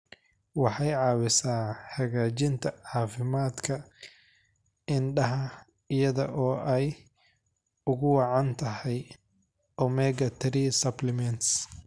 Waxay caawisaa hagaajinta caafimaadka indhaha iyada oo ay ugu wacan tahay omega-3 supplements.